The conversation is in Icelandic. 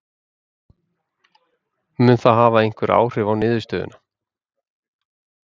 Mun það hafa einhver áhrif á niðurstöðuna?